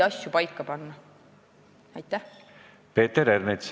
Peeter Ernits.